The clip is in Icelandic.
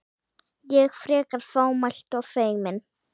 Ég, frekar fámælt og feimin.